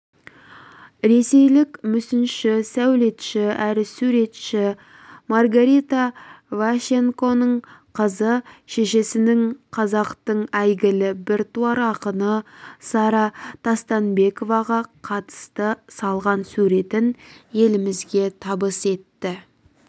ресейлік мүсінші сәулетші әрі суретші маргарита ващенконың қызы шешесінің қазақтың әйгілі біртуар ақыны сара тастанбековаға қатысты салған суреттерін елімізге табыс етті